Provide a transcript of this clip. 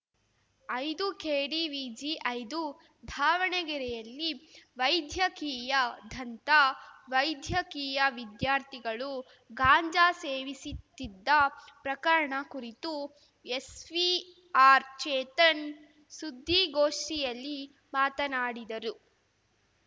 ಐದುಕೆಡಿವಿಜಿಐದು ಧಾವಣಗೆರೆಯಲ್ಲಿ ವೈಧ್ಯಕೀಯ ಧಂತ ವೈದ್ಯಕೀಯ ವಿದ್ಯಾರ್ಥಿಗಳು ಗಾಂಜಾ ಸೇವಿಸಿತ್ತಿದ್ದ ಪ್ರಕರಣ ಕುರಿತು ಎಸ್ ವಿ ಆರ್‌ಚೇತನ್‌ ಸುದ್ದಿಗೋಷ್ಠಿಯಲ್ಲಿ ಮಾತನಾಡಿದರು